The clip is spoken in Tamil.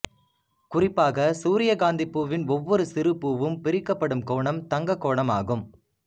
குறிப்பாக சூரியகாந்திப் பூவின் ஒவ்வொரு சிறுபூவும் பிரிக்கப்படும் கோணம் தங்கக் கோணமாகும்